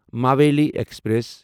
مویٖلی express